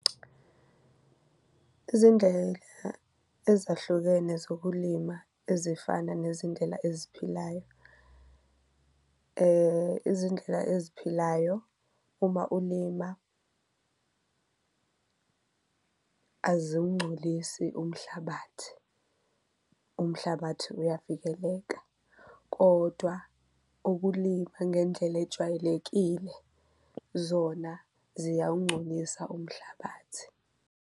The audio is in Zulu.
Izindlela ezahlukene zokulima ezifana nezindlela eziphilayo izindlela eziphilayo uma ulima aziwungcolisi umhlabathi, umhlabathi uyavikeleka kodwa ukulima ngendlela ejwayelekile zona ziyawungcolisa umhlabathi.